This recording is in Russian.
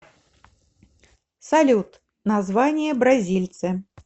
салют название бразильцы